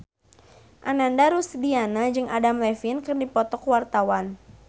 Ananda Rusdiana jeung Adam Levine keur dipoto ku wartawan